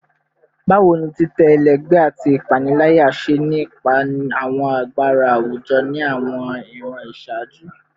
Bawo ni titẹ ẹlẹgbẹ ati ipanilaya ṣe ni ipa awọn agbara awujọ ni awọn iran iṣaaju?